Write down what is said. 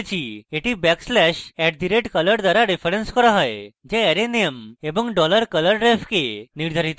এটি backslash @color দ্বারা referenced করা হয় যা অ্যারে নেম এবং $colorref কে নির্ধারিত করা হয়